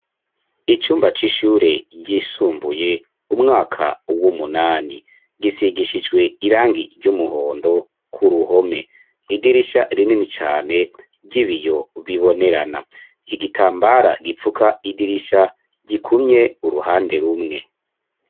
Icumba c'ishure ryisumbuye, umwaka w'umunani; gisigishijwe irangi ry'umuhondo, ku ruhome; idirisha rinini cane, ry'ibiyo bibonerana; igitambara gipfuka idirisha, gikumye uruhande rumwe.